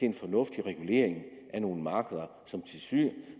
en fornuftig regulering af nogle markeder